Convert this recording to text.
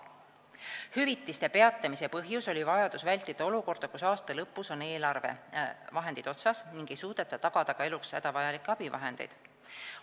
Hüvitamise peatamise põhjus oli vajadus vältida olukorda, kus aasta lõpus on eelarvevahendid otsas ning ei suudeta tagada ka eluks hädavajalikke abivahendeid.